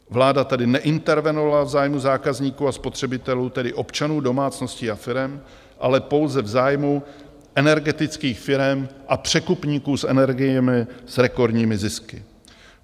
Vláda tady neintervenovala v zájmu zákazníků a spotřebitelů, tedy občanů, domácností a firem, ale pouze v zájmu energetických firem a překupníků s energiemi s rekordními zisky.